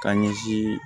Ka ɲɛsin